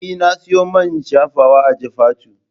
Eh na siyo main shafawa a Jifatu